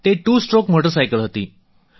તે two stroke motor cycle હતી